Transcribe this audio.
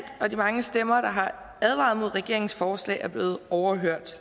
og de mange stemmer der har advaret imod regeringens forslag er blevet overhørt